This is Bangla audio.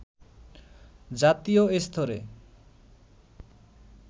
জাতীয় স্তরে